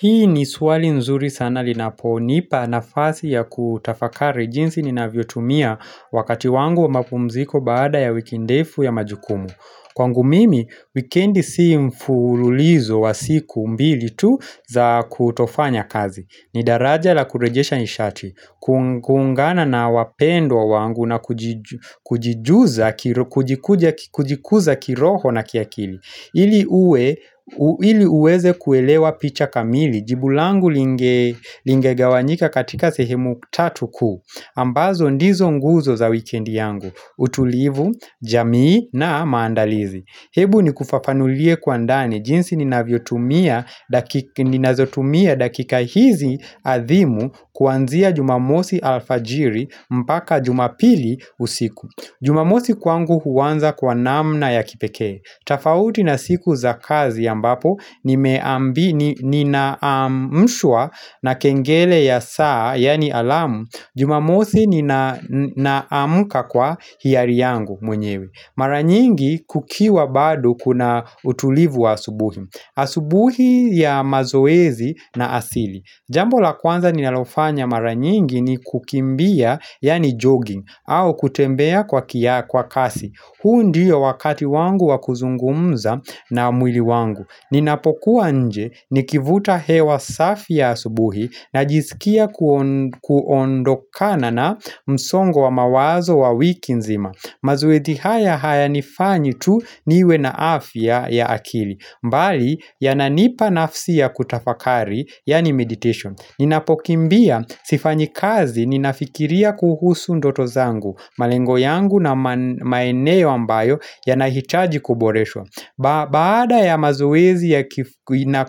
Hii ni swali nzuri sana linaponipa nafasi ya kutafakari jinsi ninavyotumia wakati wangu wa mapumziko baada ya wiki ndefu ya majukumu. Kwangu mimi, wikendi si mfululizo wa siku mbili tu za kutofanya kazi. Ni daraja la kurejesha nishati, kuungana na wapendwa wangu na kujikuza kiroho na kiakili ili uwe ili uweze kuelewa picha kamili. Jibu langu linge lingegawanyika katika sehemu tatu kuu ambazo ndizo nguzo za wikendi yangu, utulivu, jamii na maandalizi. Hebu nikufafanulie kwa ndani, jinsi ninazotumia dakika hizi adhimu kuanzia jumamosi alfajiri mpaka jumapili usiku Jumamosi kwangu huanza kwa namna ya kipekee. Tafauti na siku za kazi ambapo ninaamshwa na kengele ya saa, yaani alamu. Jumamosi ninaamka kwa hiari yangu mwenyewe. Mara nyingi kukiwa bado kuna utulivu wa asubuhi. Asubuhi ya mazoezi na asili. Jambo la kwanza ninalofanya mara nyingi ni kukimbia yani jogging au kutembea kwa kasi huu ndiyo wakati wangu wa kuzungumza na mwili wangu. Ninapokuwa nje nikivuta hewa safi ya asubuhi najizikia kuondokana na msongo wa mawazo wa wiki nzima. Mazoezi haya haya nifanye tu niwe na afya ya akili. Mbali yananipa nafsi ya kutafakari, yani meditation. Ninapokimbia, sifanyi kazi ninafikiria kuhusu ndoto zangu. Malengo yangu na maeneo ambayo yanahitaji kuboreshwa. Baada ya mazoezi na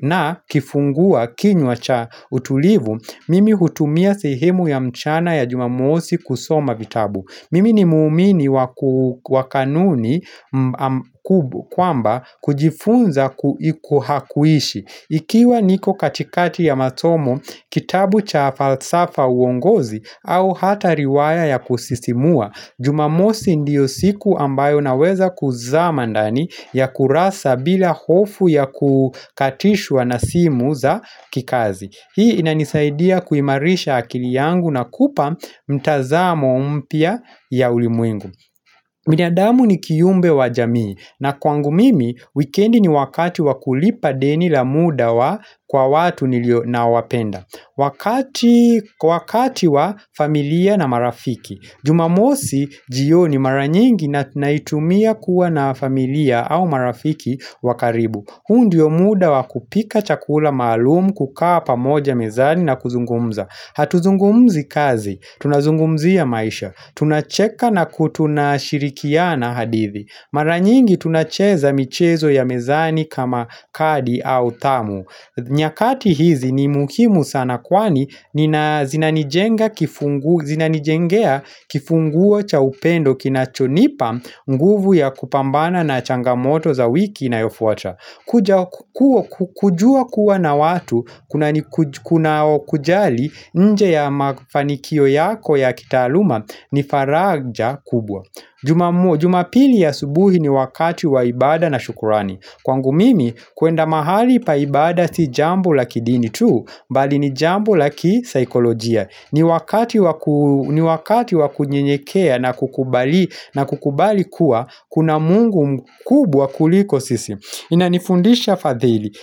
na kifunguakinywa cha utulivu, mimi hutumia sehemu ya mchana ya jumamosi kusoma vitabu. Mimi ni muumini wa kanuni kwamba kujifunza kuishi. Ikiwa niko katikati ya masomo kitabu cha falsafa uongozi au hata riwaya ya kusisimua, Jumamosi ndiyo siku ambayo naweza kuzama ndani ya kurasa bila hofu ya kukatishwa na simu za kikazi. Hii inanisaidia kuimarisha akili yangu na kupa mtazamo mpya ya ulimwengu binadamu ni kiumbe wa jamii na kwangu mimi, wikendi ni wakati wa kulipa deni la muda wa kwa watu nilio, naowapenda. Wakati Wakati wa familia na marafiki. Jumamosi jioni mara nyingi naitumia kuwa na familia au marafiki wa karibu. Hu ndio muda wa kupika chakula maalum, kukaa pamoja mezani na kuzungumza. Hatuzungumzi kazi, tunazungumzia maisha. Tunacheka na ku, tunashirikiana hadithi Mara nyingi tunacheza michezo ya mezani kama kadi au thamu nyakati hizi ni muhimu sana kwani zinanijengea kifunguo cha upendo kinachonipa nguvu ya kupambana na changamoto za wiki inayofuata. Kujua kuwa na watu kuna kujali nje ya mafanikio yako ya kitaaluma ni faraja kubwa. Jumapili asubuhi ni wakati wa ibada na shukurani. Kwangu mimi, kuenda mahali pa ibada si jambo la kidini tu, bali ni jambo la kisaikolojia. Ni wakati wakunyenyekea na kukubali kuwa, kuna Mungu mkubwa kuliko sisi. Inanifundisha fadhili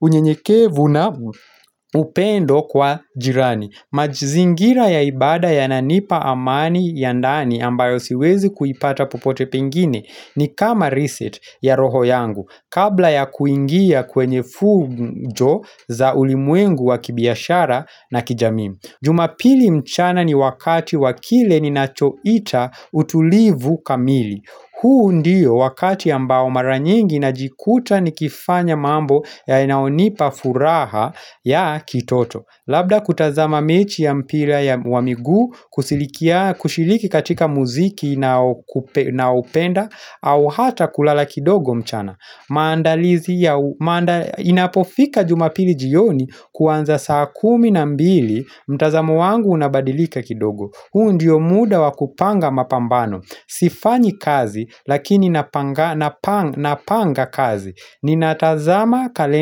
unyenyekevu na upendo kwa jirani. Mazingira ya ibada yananipa amani ya ndani ambayo siwezi kuipata power pengine. Ni kama reset ya roho yangu kabla ya kuingia kwenye fujo. Za ulimwengu wa kibiashara na kijamii. Jumapili mchana ni wakati wa kile ninachoita utulivu kamili. Huu ndiyo wakati ambao mara nyingi najikuta nikifanya mambo yanayonipa furaha ya kitoto. Labda kutazama mechi ya mpira ya, wa miguu kushiriki katika muziki naupenda au hata kulala kidogo mchana. Maandalizi ya Inapofika jumapili jioni kuanza saa kumi na mbili mtazamo wangu unabadilika kidogo huu ndiyo muda wa kupanga mapambano. Sifanyi kazi lakini napanga kazi Ninatazama kalenda.